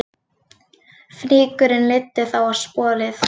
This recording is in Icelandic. Fnykurinn leiddi þá á sporið